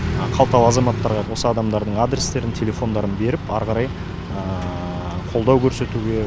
қалталы азаматтарға осы адамдардың адрестерін телефондарын беріп ары қарай қолдау көрсетуге